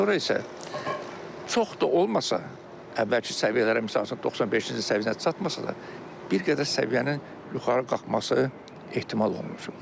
Sonra isə çox da olmasa əvvəlki səviyyələrə misal üçün 95-ci səviyyəyə çatmasa da, bir qədər səviyyənin yuxarı qalxması ehtimal olunur.